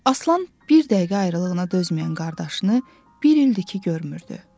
Aslan bir dəqiqə ayrılığına dözməyən qardaşını bir ildir ki, görmürdü.